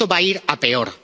Y esto va a ir a peor.